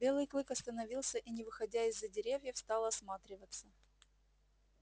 белый клык остановился и не выходя из-за деревьев стал осматриваться